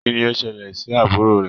Kínní o ṣẹlẹ sí àbúrò rẹ?